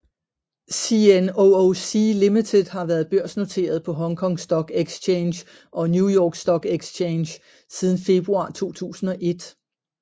CNOOC Limited har været børsnoteret på Hong Kong Stock Exchange og New York Stock Exchange siden februar 2001